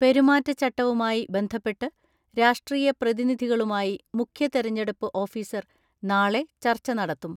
പെരുമാറ്റച്ചട്ടവുമായി ബന്ധപ്പെട്ട് രാഷ്ട്രീയ പ്രതിനിധികളുമായി മുഖ്യ തിരഞ്ഞെടുപ്പ് ഓഫിസർ നാളെ ചർച്ച നടത്തും.